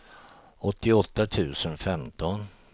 åttioåtta tusen femton